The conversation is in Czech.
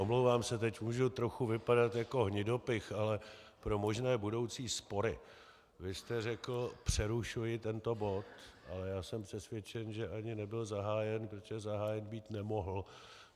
Omlouvám se, teď můžu trochu vypadat jako hnidopich, ale pro možné budoucí spory - vy jste řekl "přerušuji tento bod", a já jsem přesvědčen, že ani nebyl zahájen, protože zahájen být nemohl.